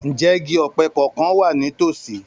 Ǹjẹ́ igi ọ̀pẹ kankan wà ní tòsí?